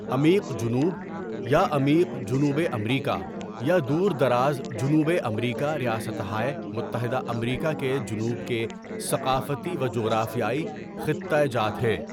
عمیق جنوب یا عمیق جنوبِ امریکا یا دوردراز جنوبِ امریکاریاستہائے متحدہ امریکا کے جنوب کے ثقافتی و جغرافیائی خِطّہ جات ہیں.